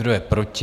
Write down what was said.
Kdo je proti?